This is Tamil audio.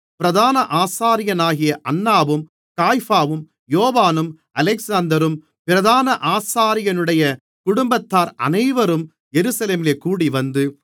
பிரதான ஆசாரியனாகிய அன்னாவும் காய்பாவும் யோவானும் அலெக்சந்தரும் பிரதான ஆசாரியனுடைய குடும்பத்தார் அனைவரும் எருசலேமிலே கூடிவந்து